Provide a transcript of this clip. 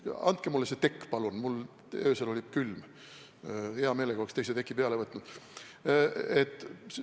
Andke mulle see tekk palun, mul öösel oli külm, hea meelega oleks teise teki peale võtnud!